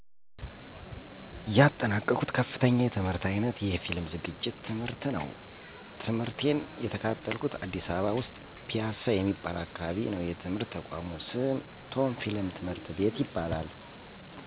ያጠናቅሁት ከፍተኛ የትምህርት አይነት የፊልም ዝግጅት ትምህርት ነው። ትምህርቴን የተከታተልኩት አዲስ አበባ ውስጥ ፒያሳ የሚባል አካባቢ ነው የትምህርት ተቋሙ ስም ቶም ፊልም ትምህርት ቤት ይባላል።